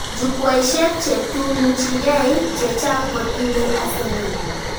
Jukwaishek chetunuchike chechang kotindoi asenet